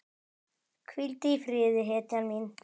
Hvíldu í friði hetjan mín.